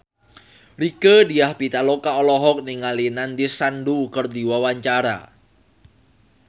Rieke Diah Pitaloka olohok ningali Nandish Sandhu keur diwawancara